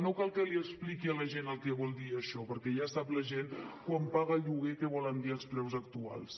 no cal que li expliqui a la gent què vol dir això perquè ja sap la gent quan paga lloguer què volen dir els preus actuals